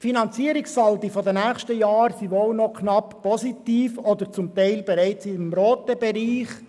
Die Finanzierungssaldi der nächsten Jahre sind wahrscheinlich noch knapp positiv oder zum Teil bereits im roten Bereich.